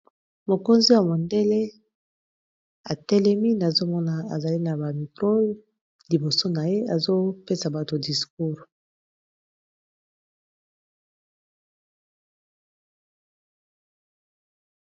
mokonzi ya modele atelemi nazomona ezali na bamitrole liboso na ye azopesa bato discours